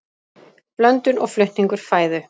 blöndun og flutningur fæðu